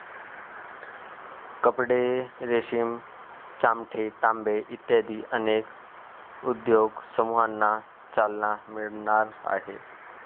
कपडे, रेशीम, चामडे, तांबे इत्यादी अनेक उद्योग समूहांना चालना मिळणार आहे.